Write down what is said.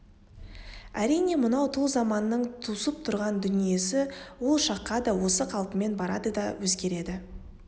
әрине мынау тұл заманның тусып тұрған дүниесі ол шаққа да осы қалпымен барады да өзгереді